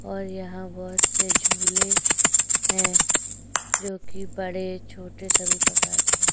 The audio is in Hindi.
और यहां पर बोहोत से झूले हैं जो कि बड़े छोटे सभी प्रकार के हैं।